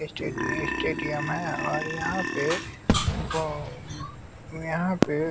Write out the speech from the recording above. स्टेडि stadium है और यहां पे बहो यहां पे--